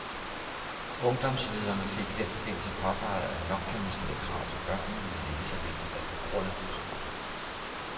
Ungdomslederne fik i den forbindelse påpeget, at nok kan man stille krav til børnene, men det er lige så vigtigt at begrunde kravene.